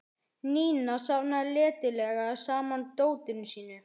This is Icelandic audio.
Nína safnaði letilega saman dótinu sínu.